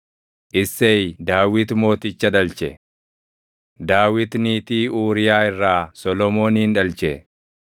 Isseey Daawit Mooticha dhalche. Daawit niitii Uuriyaa irraa Solomoonin dhalche;